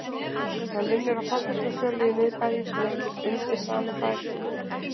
Hann vinnur á fasteignasölu í miðbænum sem heitir Undir sama þaki